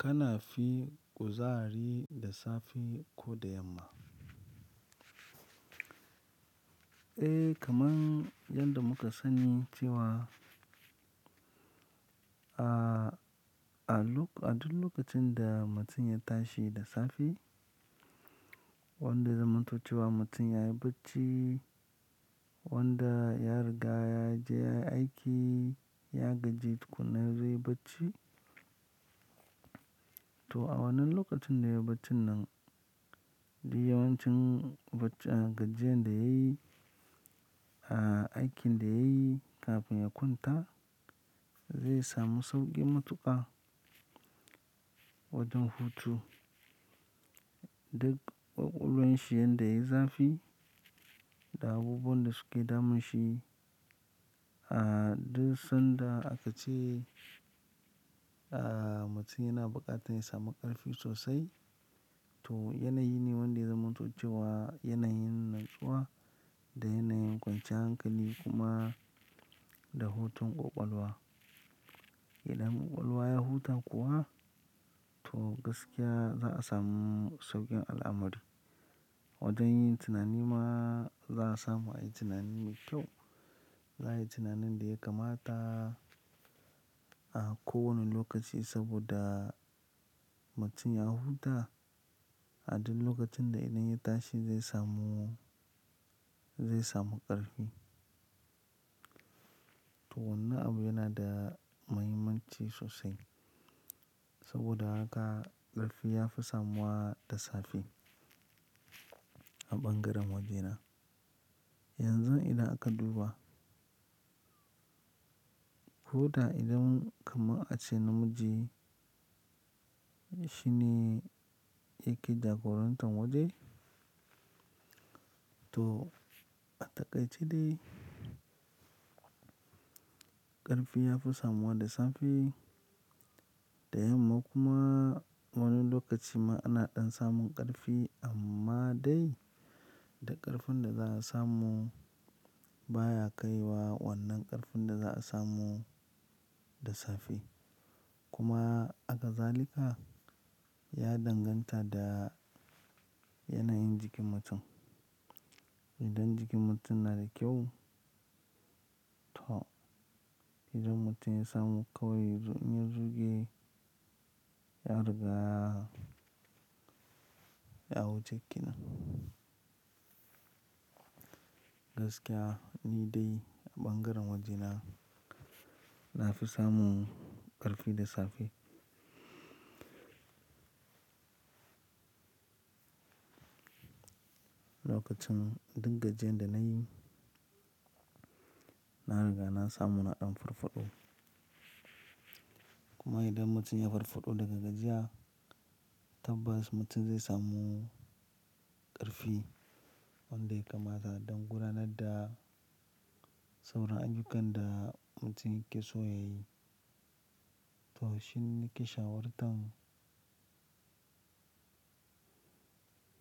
Kana fi kuzari da safe ko da yamma? Eh kaman yadda muka sani cewa, a duk lokacin da mutum ya tashi da safe, wanda ya zamantocewa mutum yayi bacci, wanda ya riga ya je ya yi aiki, ya gaji tukuna zai yi bacci. To a wannan lokacin da yayi bacci nan, duk yawancin gajiyan da yayi, aikin da yayi kafin ya kwanta zai samu sauƙi matuƙa wajen hutu. Duk ƙwaƙwalwan shi yanda yayi zafi da abubuwan da suke damun shi, a duk sanda aka ce, a mutum yana buƙatar ya samu ƙarfi sosai. To yanayi ne wanda zamantocewa, yana yin natsuwa da yana yin kwanciyan hankali kuma da hutun ƙwaƙwalwa. Idan ƙwaƙwalwa ya huta kuwa, to gaskiya za a samu sauƙin al'amari. Wajen yin tunani ma za a samu a yi tunani mai kyau. Za a yi tunanin da ya kamata, a kowane lokaci saboda mutum ya huta. A duk lokacin da idan ya tashi zai samu, zai samu ƙarfi. To wannan abu yana da muhimmanci sosai. Saboda haka ƙarfi ya fi samuwa da safe a ɓangaren wajena. Yanzu idan aka duba, ko da idan kamar a ce namiji shine yake jagorantar waje, to a takai ce dai, ƙarfi ya fi samuwa da safe. Da yamma kuma wani lokaci ma ana ɗan samun ƙarfi amma dai da ƙarfin da za a samu baya kai wa wannan ƙarfin da za a samu da safe. Kuma haka zalika ya danganta da yanayin jikin mutum. Idan jikin mutum na da kyau, to idan mutum ya samu ƙawai in zuge ya riga ya wuce kenan. Gaskiya ni dai a ɓangaren wajena na fi samun ƙarfi da safe. Lokacin duk gajiyan da nayi, na riga na samu na ɗan farfaɗo. Kuma idan mutum ya farfaɗo daga gajiya, tabbas mutum zai samu ƙarfi wanda ya kamata don gudanar da sauran ayyukan da mutum yake so ya yi. To shi ne nake shawar tan.